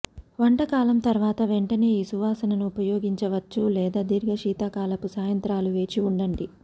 వంటకాలం తర్వాత వెంటనే ఈ సువాసనను ఉపయోగించవచ్చు లేదా దీర్ఘ శీతాకాలపు సాయంత్రాలు వేచి ఉండండి